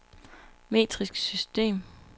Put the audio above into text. metrisk system